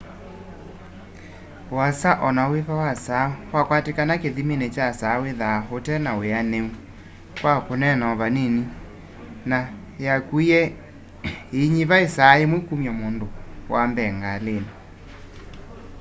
uasa onawĩva wa saa wakwatĩkana kĩthĩmĩnĩ kya saa wĩthaa ũtena wĩanĩũ kwa kũneena o vanĩnĩ na yakũĩe ĩĩnyĩva ĩsaa yĩmwe kũmya mũndũ wa mbee ngalĩnĩ